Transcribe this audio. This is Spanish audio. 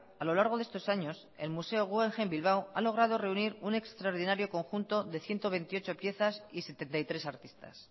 a lo largo de estos años el museo guggenheim ha logrado reunir un extraordinario conjunto de ciento veintiocho piezas y setenta y tres artistas